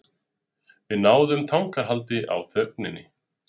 Við náðum tangarhaldi á þögninni.